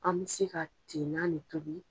An bɛ se ka ten na le tobi.